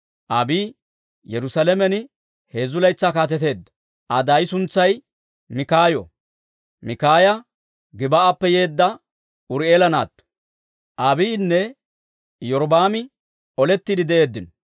Abiiyi Yerusaalamen heezzu laytsaa kaateteedda. Aa daay suntsay Mikaayo; Mikaaya Gib"appe yeedda Uri'eela naatto. Abiiyinne Iyorbbaami olettiide de'eeddino.